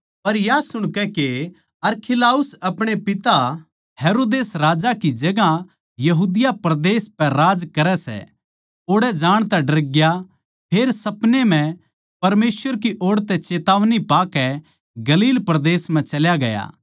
पर या सुणकै के अरखिलाउस अपणे पिता हेरोदेस राजा की जगहां यहूदिया परदेस पै राज करै सै ओड़ै जाण तै डरग्या फेर सपनै म्ह परमेसवर की ओड़ तै चेतावनी पाकै गलील परदेस म्ह चल्या गया